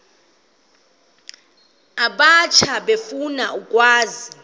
abatsha efuna ukwazi